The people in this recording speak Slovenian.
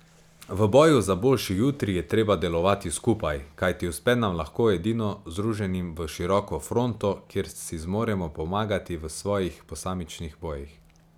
V boju za boljši jutri je treba delovati skupaj, kajti uspe nam lahko edino združenim v široko fronto, kjer si zmoremo pomagati v svojih posamičnih bojih.